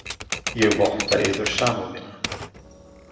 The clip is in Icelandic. Ég votta yður samúð mína.